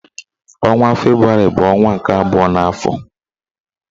Ọnwa Febrụwarị bụ ọnwa nke abụọ n'afọ.